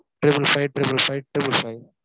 triple five, triple five, triple five